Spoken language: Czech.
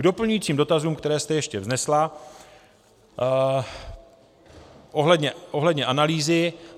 K doplňujícím dotazům, které jste ještě vznesla ohledně analýzy.